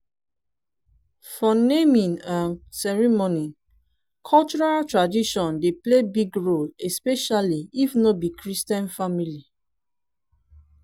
for naming um ceremony cultural tradition dey play big role especially if no be christian family